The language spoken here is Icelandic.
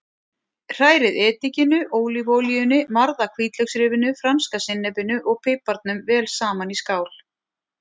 Hrærið edikinu, ólívuolíunni, marða hvítlauksrifinu, franska sinnepinu og piparnum vel saman í skál.